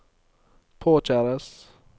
påkjæres